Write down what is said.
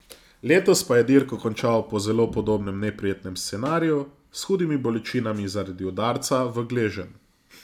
Letos pa je dirko končal po zelo podobnem neprijetnem scenariju, s hudimi bolečinami zaradi udarca v gleženj.